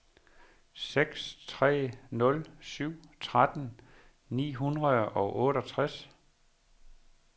seks tre nul syv tretten ni hundrede og otteogtres